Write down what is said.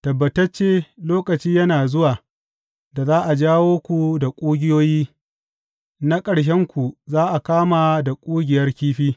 Tabbatacce lokaci yana zuwa da za a jawo ku da ƙugiyoyi, na ƙarshenku za a kama da ƙugiyar kifi.